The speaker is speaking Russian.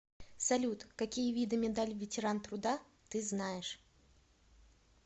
салют какие виды медаль ветеран труда ты знаешь